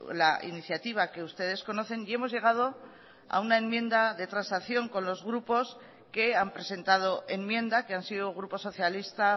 la iniciativa que ustedes conocen y hemos llegado a una enmienda de transacción con los grupos que han presentado enmienda que han sido grupo socialista